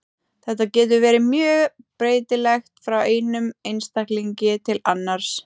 Þetta getur verið mjög breytilegt frá einum einstaklingi til annars.